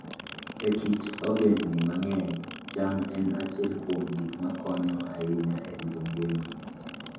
E kit ogendini mang'eny, cham en achiel kuom gik makonyo ahinya e rito ngima.